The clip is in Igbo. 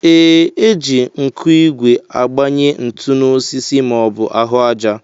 Ee, e ji nkụigwe akụbanye ntu n'osisi maọbụ ahụ àjà